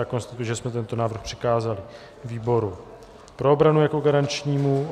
Já konstatuji, že jsme tento návrh přikázali výboru pro obranu jako garančnímu.